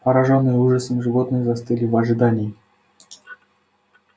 поражённые ужасом животные застыли в ожидании